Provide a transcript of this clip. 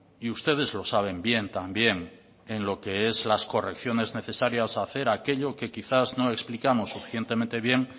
y ustedes lo saben bien también en lo que es las correcciones necesarias a hacer aquello que quizás no explicamos suficientemente bien